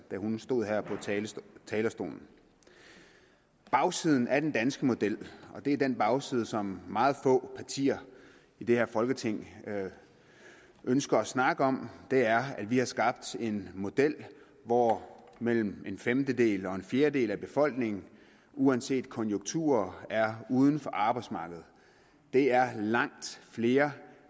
hun stod her på talerstolen bagsiden af den danske model og det er den bagside som meget få partier i det her folketing ønsker at snakke om er at vi har skabt en model hvor mellem en femtedel og en fjerdedel af befolkningen uanset konjunkturer er uden for arbejdsmarkedet det er langt flere